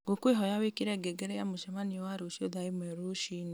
ngũkwĩhoya wĩkĩre ngengere ya mũcemanio wa rũciũ thaa ĩmwe rũci-inĩ